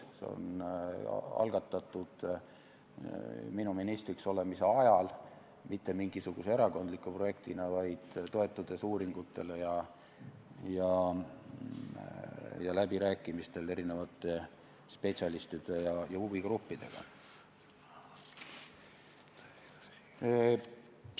See on algatatud minu ministriks olemise ajal mitte mingisuguse erakondliku projektina, vaid toetudes uuringutele ja läbirääkimistele spetsialistide ja huvigruppidega.